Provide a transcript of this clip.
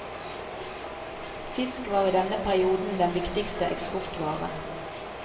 Fisk var i denne perioden den viktigste eksportvaren.